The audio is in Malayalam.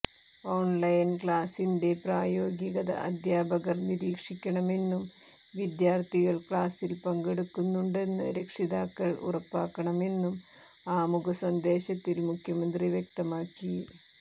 ഓൺലൈൻ ക്ലാസിന്റെ പ്രായോഗികത അധ്യാപകർ നിരീക്ഷിക്കണമെന്നും വിദ്യാർഥികൾ ക്ലാസിൽ പങ്കെടുക്കുന്നുണ്ടെന്ന് രക്ഷിതാക്കൾ ഉറപ്പാക്കണമെന്നും ആമുഖ സന്ദേശത്തിൽ മുഖ്യമന്ത്രി വ്യക്തമാക്കി